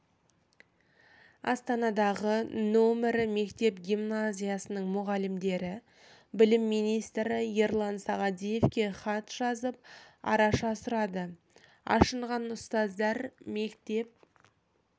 астанадағы нөмірі мектеп гимназиясының мұғалімдері білім министрі ерлан сағадиевқа хат жазып араша сұрады ашынған ұстаздар мектеп